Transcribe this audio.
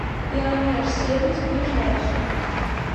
пионер сервис ближайший